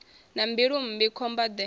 na mbilu mmbi khomba de